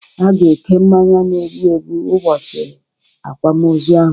A ga-eke mmanya n'egbụ egbụ ubọchi akwamozụ ahụ